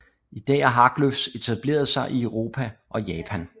I dag har Haglöfs etableret sig i Europa og Japan